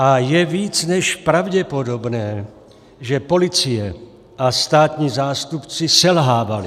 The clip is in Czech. A je více než pravděpodobné, že policie a státní zástupci selhávali.